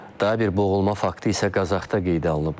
Daha bir boğulma faktı isə Qazaxda qeydə alınıb.